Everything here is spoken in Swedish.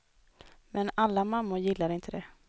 Men alla mammor gillar inte det.